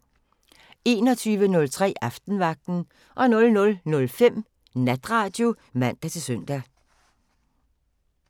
21:03: Aftenvagten 00:05: Natradio (man-søn)